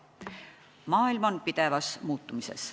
Maailm on pidevas muutumises.